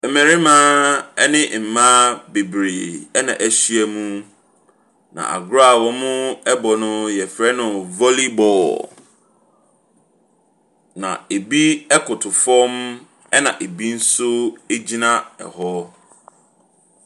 Mmarima ne mmaa bebree na ahyia mu. Na agorɔ a wɔrebɔ no yɛfrɛ no volleyball. Na ɛbi koto fam na ɛbi nso gyina hɔ.